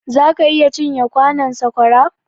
zaka iya cin ye kwanon saƙwara?